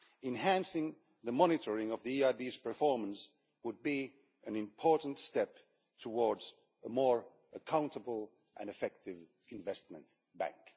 Enhancing the monitoring of the EIB's performance would be an important step towards a more accountable and effective Investment Bank.